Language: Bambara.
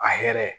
A yɛrɛ